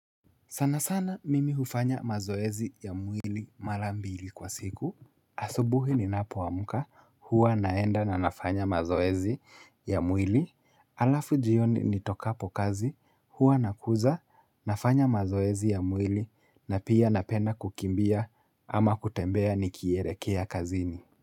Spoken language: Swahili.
Sana sana mimi hufanya mazoezi ya mwili mara mbili kwa siku asubuhi ninapoamka huwa naenda na nafanya mazoezi ya mwili Alafu jioni nitokapo kazi huwa nakuja nafanya mazoezi ya mwili na pia napenda kukimbia ama kutembea nikielekea kazini.